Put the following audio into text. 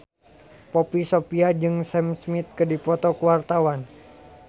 Poppy Sovia jeung Sam Smith keur dipoto ku wartawan